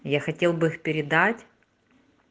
я хотел бы их передать